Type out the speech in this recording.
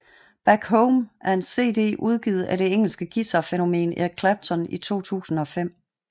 Back Home er en CD udgivet af det engelske guitarfænomen Eric Clapton i 2005